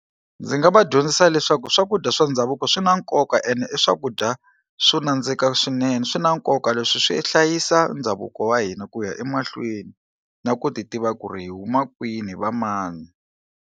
Ndzi nga va dyondzisa leswaku swakudya swa ndhavuko swi na nkoka ene i swakudya swo nandzika swinene swi na nkoka leswi swi hlayisa ndhavuko wa hina ku ya emahlweni na ku ti tiva ku ri hi huma kwini hi va mani.